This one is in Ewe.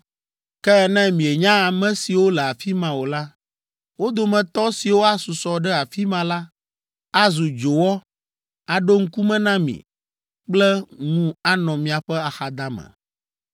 “ ‘Ke ne mienya ame siwo le afi ma o la, wo dometɔ siwo asusɔ ɖe afi ma la, azu dzowɔ aɖo ŋkume na mi kple ŋu anɔ miaƒe axadame.